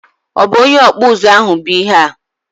obụ onye ọkpụ ụzụ ahụ bụ ihe a?